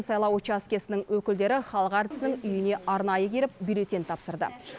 сайлау учаскесінің өкілдері халық әртісінің үйіне арнайы келіп бюллетень тапсырды